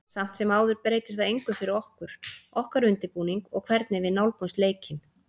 Samt sem áður breytir það engu fyrir okkur, okkar undirbúning og hvernig við nálgumst leikinn.